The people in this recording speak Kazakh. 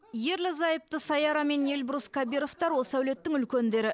ерлі зайыпты саяра мен эльбрус кабировтар осы әулеттің үлкендері